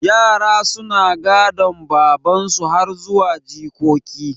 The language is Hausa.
Yara suna gadan baban ninsu har zuwa jikoki